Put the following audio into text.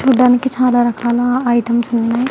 చూడడానికి చాల రకాల ఐటమ్స్ వున్నాయ్.